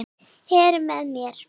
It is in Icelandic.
Heru með mér.